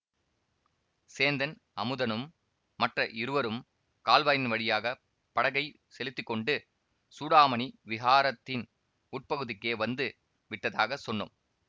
சேந்தன் அமுதனும் மற்ற இருவரும் கால்வாயின் வழியாக படகைச் செலுத்தி கொண்டு சூடாமணி விஹாரத்தின் உட்பகுதிக்கே வந்து விட்டதாகச் சொன்னோம்